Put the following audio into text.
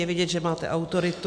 Je vidět, že máte autoritu.